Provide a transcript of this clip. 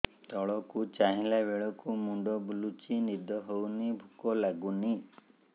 ତଳକୁ ଚାହିଁଲା ବେଳକୁ ମୁଣ୍ଡ ବୁଲୁଚି ନିଦ ହଉନି ଭୁକ ଲାଗୁନି